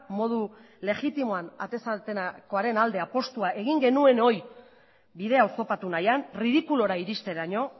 modu legitimoan atez atekoaren alde apustua egin genuenoi bidea oztopatu nahian ridikulura iristeraino